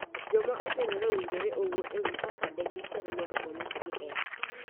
Joma okendore owinjore owuo e wii kaka de giher mondo nyisgi hera.